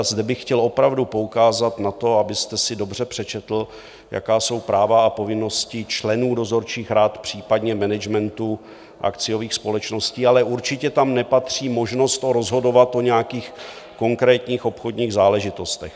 A zde bych chtěl opravdu poukázat na to, abyste si dobře přečetl, jaká jsou práva a povinnosti členů dozorčích rad, případně managementu akciových společností, ale určitě tam nepatří možnost rozhodovat o nějakých konkrétních obchodních záležitostech.